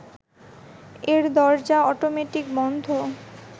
এর দরজা অটোমেটিক বন্ধ